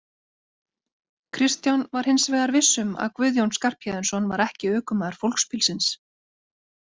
Kristján var hins vegar viss um að Guðjón Skarphéðinsson var ekki ökumaður fólksbílsins.